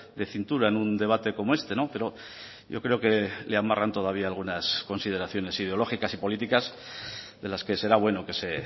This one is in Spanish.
de cintura en un debate como este pero yo creo que le amarran todavía algunas consideraciones ideológicas y políticas de las que será bueno que se